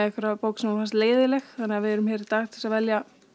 bók sem honum fannst leiðinleg þannig að við erum hér í dag til að velja